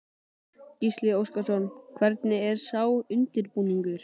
Gísli Óskarsson: Hvernig er sá undirbúningur?